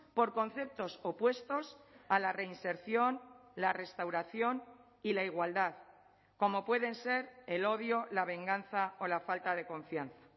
por conceptos opuestos a la reinserción la restauración y la igualdad como pueden ser el odio la venganza o la falta de confianza